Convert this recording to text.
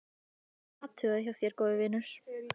Rétt athugað hjá þér góði vinur.